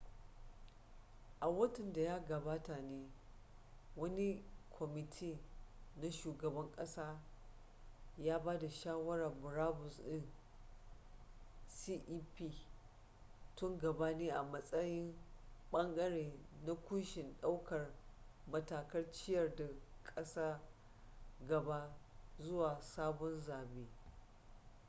a watan da ya gabata ne wani kwamiti na shugaban kasa ya ba da shawarar murabus din cep tun gabani a matsayin bangare na kunshin daukar matakan ciyar da kasar gaba zuwa sabon zabe